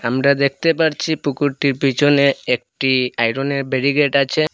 আমরা দেখতে পারছি পুকুরটির পিছনে একটি আয়রনের বেরিগেট আছে।